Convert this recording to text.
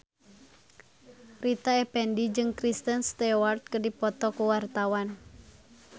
Rita Effendy jeung Kristen Stewart keur dipoto ku wartawan